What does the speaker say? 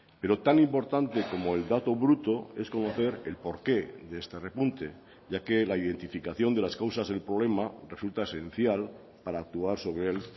pero tan importante como el dato bruto es conocer el porqué de este repunte ya que la identificación de las causas del problema resulta esencial para actuar sobre él